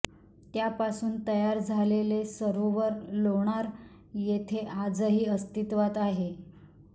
त्यापासून तयार झालेले सरोवर लोणार येथे आजही अस्तित्वात आहे